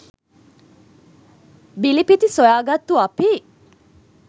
බිලිපිති සොයා ගත්තු අපි